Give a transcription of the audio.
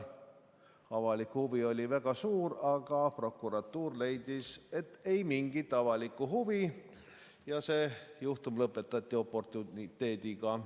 Avalik huvi oli väga suur, aga prokuratuur leidis, et ei mingit avalikku huvi ja see juhtum lõpetati oportuniteediga.